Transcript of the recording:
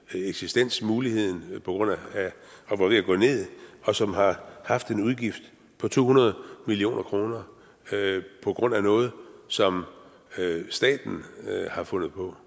eksistensmuligheden og var ved at gå ned og som har haft en udgift på to hundrede million kroner på grund af noget som staten har fundet på